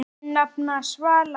Þín nafna, Svala.